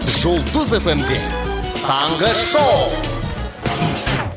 жұлдыз эф эм де таңғы шоу